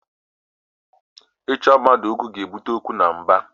Ịchọ mmadụ okwu ga-ebute ọgụ na mgba